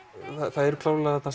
það eru klárlega